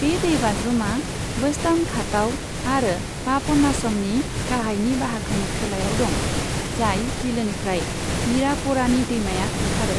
बे दैबाज्रुमा वेस्टार्न घातआव आरो पापनाशमनि गाहायनि बाहागोनि खोलायाव दं, जाय बिलोनिफ्राय मीरापरानी दैमाया ओंखारो।